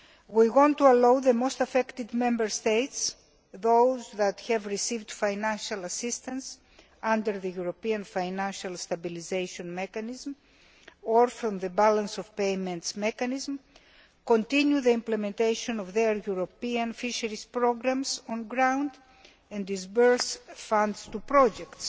We want to allow the most affected Member States those that have received financial assistance under the European Financial Stabilisation Mechanism or from the Balance of Payments mechanism to continue to implement their European fisheries programmes on the ground and disburse funds to projects.